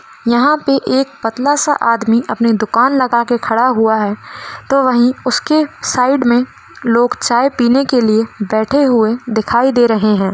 यहां पे एक पतला सा आदमी अपनी दुकान लगा के खड़ा हुआ है तो वहीं उसके साइड मे लोग चाय पीने के लिए बैठे हुये दिखाई दे रहे हैं।